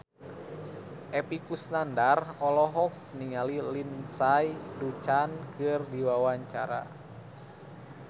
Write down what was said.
Epy Kusnandar olohok ningali Lindsay Ducan keur diwawancara